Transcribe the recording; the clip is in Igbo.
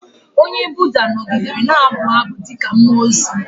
Onye Buda nọgidere na-abụ abụ dị ka mmụọ ozi.